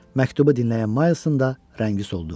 Məktubu dinləyən Milesin də rəngi soldu.